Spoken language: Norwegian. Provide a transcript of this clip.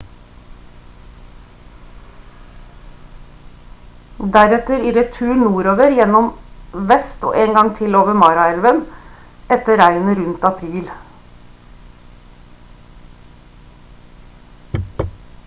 deretter i retur nordover gjennom vest en gang til over mara-elven etter regnet rundt april